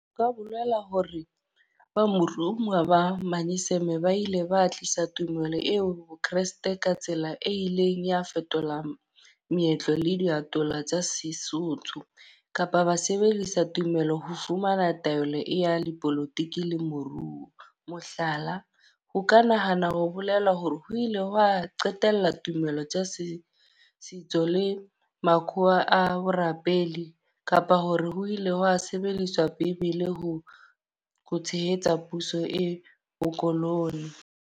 Ho ka bolela hore ba morumuwa ba manyeseme ba ile ba tlisa tumelo eo Kreste ka tsela e ileng ya fetola meetlo le diatola tsa Sesotho. Kapa ba sebedisa tumelo ho fumana taolo e ya dipolotiki le moruo. Mohlala, ho ka nahana ho bolela hore ho ile hwa qetella tumelo tsa setso, setso le makhowa a borapedi. Kapa hore ho ile hwa sebediswa Bebele ho ho tshehetsa puso le bolokolohi.